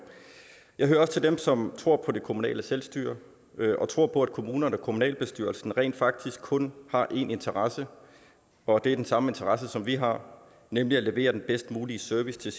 jeg hører også til dem som tror på det kommunale selvstyre og tror på at kommunerne og kommunalbestyrelserne rent faktisk kun har én interesse og det er den samme interesse som vi har nemlig at levere den bedst mulige service til